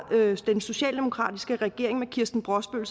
den socialdemokratiske regering hvor kirsten brosbøl